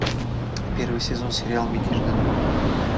первый сезон сериал мятежный дух